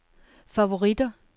favoritter